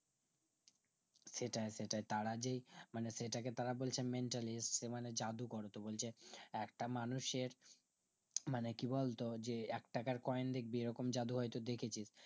সেটাই সেটাই তারা যে মানে সেটাকেই তারা বলছে mentalist জাদুকর তো বলছে একটা মানুষে মানে কি বলতো যে একটাকার কয়েন এইরকম জাদু হয়তো দেখেছিস